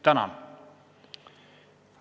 Tänan!